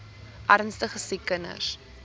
ernstige siek kinders